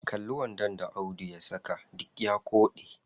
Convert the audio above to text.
Kalli wandon da audu ya saka, duk ya koɗe.